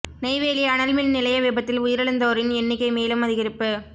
நெய்வேலி அனல் மின் நிலைய விபத்தில் உயிரிழந்தோரின் எண்ணிக்கை மேலும் அதிகரிப்பு